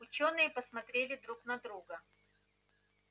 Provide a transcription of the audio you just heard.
учёные посмотрели друг на друга